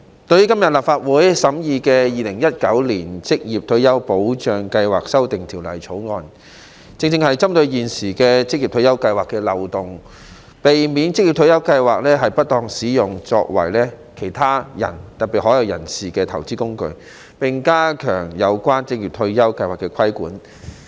代理主席，立法會今天審議的《2019年職業退休計劃條例草案》，正是針對現時職業退休計劃的漏洞，避免職業退休計劃遭不當使用作為其他人，特別是海外人士的投資工具，並加強有關職業退休計劃的規管。